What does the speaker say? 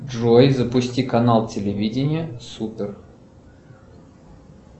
джой запусти канал телевидения супер